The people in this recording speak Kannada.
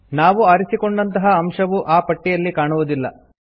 ನಾವು ಆರಿಸಿಕೊಂಡಂತಹ ಅಂಶವು ಆ ಪಟ್ಟಿಯಲ್ಲಿ ಕಾಣುವುದಿಲ್ಲ